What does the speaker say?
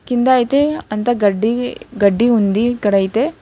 కింద అయితే అంత గడ్డి గడ్డి ఉంది ఇక్కడడైతే.